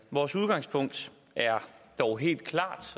vores udgangspunkt er dog helt klart